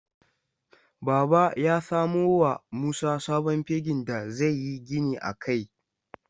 Baba ya samo wa Musa sabon fegin da zai yi gini a kai.